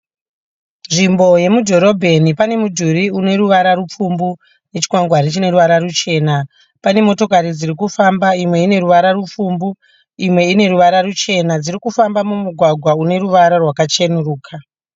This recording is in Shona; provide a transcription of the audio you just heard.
Nzvimbo yemudhorobheni, pane mudhuri uneruvara rupfumbu nechikwangwari chineruvara ruchena. Pane motikari dzirikufamba, imwe uneruvara rupfumbu imwe ineruvara ruchena. Dzirikufamba mugwagwa uneruvara rwakachenuruka.